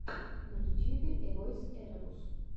на ютьюбе эвойс эребус